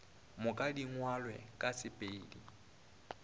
moka di ngwalwe ka sepedi